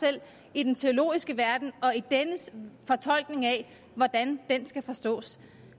i den teologiske verden og i dennes fortolkning af hvordan den skal forstås